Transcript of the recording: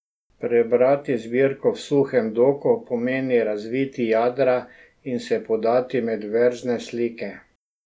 Prebrati zbirko V suhem doku pomeni razviti jadra in se podati med verzne slike.